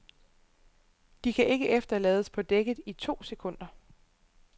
De kan ikke efterlades på dækket i to sekunder.